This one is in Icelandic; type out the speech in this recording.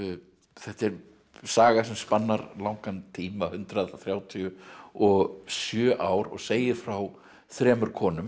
þetta er saga sem spannar langan tíma hundrað þrjátíu og sjö ár og segir frá þremur konum